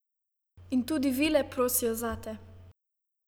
In tudi vile prosijo zate.